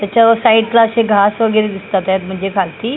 त्याच्यावर साईडला असे घास वगैरे दिसतात आहेत म्हणजे खालती.